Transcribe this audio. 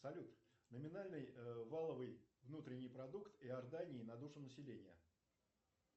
салют номинальный валовый внутренний продукт иордании на душу населения